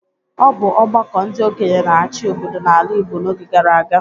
Ọ bụ ọgbakọ ndị okenye na-achị obodo n'ala Igbo n’oge gara aga.